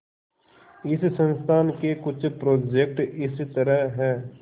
इस संस्थान के कुछ प्रोजेक्ट इस तरह हैंः